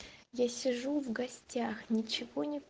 я сижу в гостях ничего не